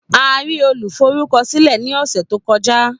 A rí Olùforúkọsílẹ̀ ní ọ̀sẹ̀ tó kọjá